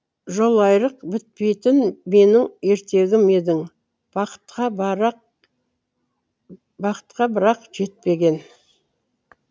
жолайрық бітпейтін менің ертегім едің бақытқа бірақ жетпеген